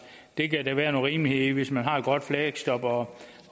det kan der være nogen rimelighed i hvis man har et godt fleksjob og